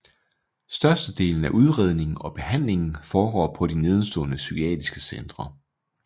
Størstedelen af udredningen og behandlingen foregår på de nedenstående psykiatriske centre